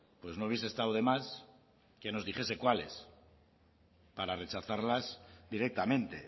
pues no hubiese estado de más que nos dijese cuáles para rechazarlas directamente